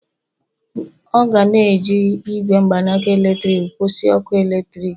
ọ ga na-eji igwe mgbanaka eletrik kwụsị ọkụ eletrik